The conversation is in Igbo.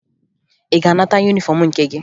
Ị ga-anata yunifọmụ nke gị?